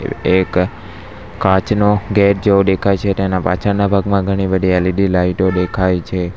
એક કાચનો ગેટ જેવો દેખાય છે તેના પાછળના ભાગમાં ઘણી બધી એલ_ઇ_ડી લાઇટો દેખાય છે.